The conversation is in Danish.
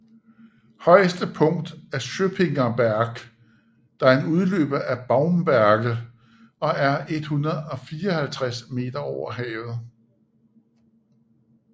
Højeste punkt er Schöppinger Berg der er en udløber af Baumberge og er 154 moh